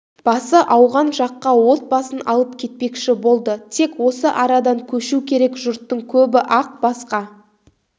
басы ауған жаққа отбасын алып кетпекші болды тек осы арадан көшу керек жұрттың көбі ақ басқа